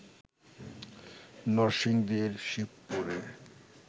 নরসিংদীর শিবপুরে